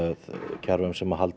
kerfum sem halda